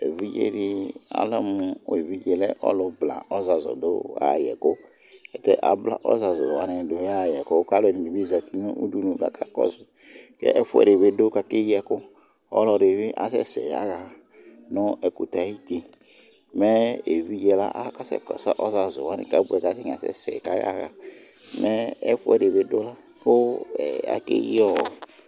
Évidjé di ɔlɛmu évidjé lɛ ɔlu bla ɔzazu du ya yɛ ku Ta bla ɔzazu wani du yayɛ ku ku alɛdini bi zati nu udunu ka akakɔsu ƙɛ ɛfuɛ dibi du ka akéyi ɛku ɔlɔdibi asɛsɛ yaha nɛ ɛkutɛ ayiti Mɛ évidjé la akasɛ kɔsu ɔzazuwani ka atani kasɛsɛ kayaha, mɛ ɛfuɛ di bidu ka akéyiɔ